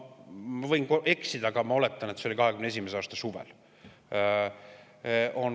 Ma võin eksida, aga ma oletan, et see oli 2021. aasta suvel.